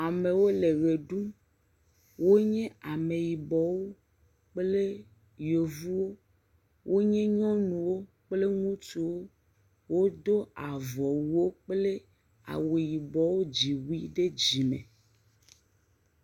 Amewo le ʋe ɖum wonye ameyibɔwo kple yevuwo wonye nyɔnuwo kple ŋutsuwo wodo avɔwuwo kple awu yibɔ dziwui ɖe dzime.